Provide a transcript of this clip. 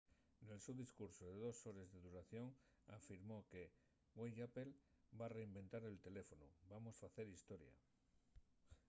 nel so discursu de dos hores de duración afirmó que güei apple va reinventar el teléfonu. vamos facer historia